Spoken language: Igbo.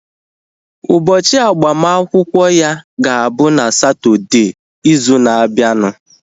Ụbọchị agbamakwụkwọ ya ga-abụ na Satọdee izu na abianu